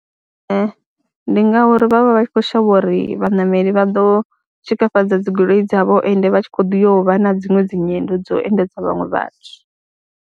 Ee, ndi ngauri vha vha vha tshi khou shavha uri vhaṋameli vha ḓo tshikafhadza dzi goloi dzavho ende vha tshi khou ḓi yo vha na dziṅwe dzi nyendo dzo endedza vhaṅwe vhathu.